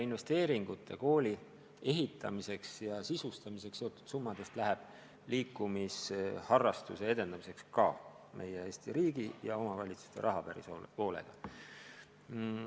Koolide ehitamiseks ja sisustamiseks eraldatud summadest läheb liikumisharrastuse edendamiseks ka Eesti riigi ja omavalitsuste raha päris palju.